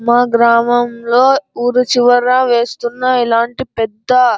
మా గ్రామంలో ఊరు చివర వేస్తున్న ఇలాంటి పెద్ద --